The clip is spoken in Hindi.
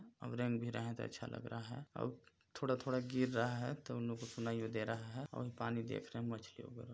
अब रेंग भी रहे है तो अच्छा लग रहा है अब थोड़ा-थोड़ा गिर रहा है तो इनलोग को सुनाई यो दे रहा है अभी पानी देख रहे है मछली वगैरा--